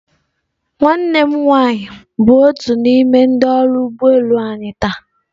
Nwanne m nwanyị bụ otu n'ime ndị ọrụ ụgbọ elu anyị taa.